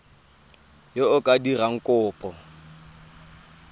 yo o ka dirang kopo